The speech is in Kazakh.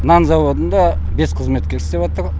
нан зауытында бес қызметкер істеватыр